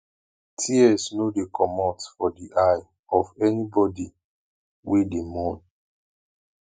tears no dey comot for di eye of anybodi wey dey mourn